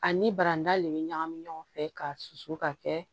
Ani barandali bɛ ɲagami ɲɔgɔn fɛ k'a susu ka kɛ